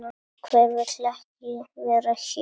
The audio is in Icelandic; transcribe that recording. Hver vill ekki vera hér?